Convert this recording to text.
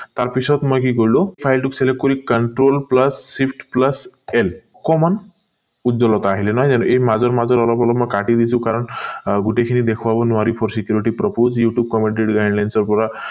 তাৰ পিছত মই কি কৰিলো file টোক select কৰি control plus shift plus l অকণমান উৎজলতা আহিলে নহয় জানো এই মাজৰ মাজৰ অলপ অলপ মই কাটি দিছো কাৰণ গোটেই খিনি দেখুওৱা নোৱাৰি for security propose youtube commented guidelines পৰ